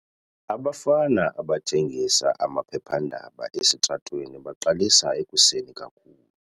Abafana abathengisa amaphephandaba esitratweni baqalisa ekuseni kakhulu.